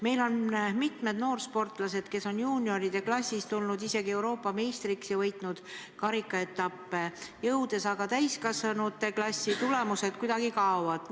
Meil on mitmed noorsportlased juunioride klassis tulnud isegi Euroopa meistriks ja võitnud karikaetappe, täiskasvanute klassi jõudnult nende head tulemused kuidagi kaovad.